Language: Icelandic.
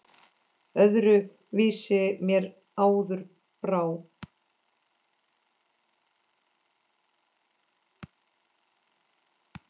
Öðru vísi mér áður brá.